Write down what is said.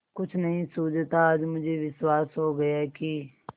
कुछ नहीं सूझता आज मुझे विश्वास हो गया कि